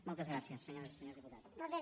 moltes gràcies senyores i senyors diputats